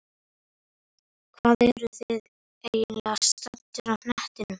Hvar eruð þér eiginlega staddur á hnettinum?